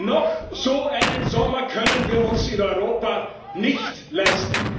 Noch so einen Sommer können wir uns in Europa nicht leisten!